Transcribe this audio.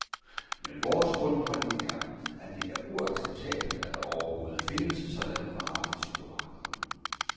Men vores grundholdning er, at det er uacceptabelt, at der overhovedet findes sådanne varer i supermarkederne.